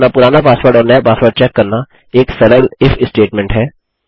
अपना पुराना पासवर्ड और नया पासवर्ड चेक करना एक सरल इफ स्टेटमेंट है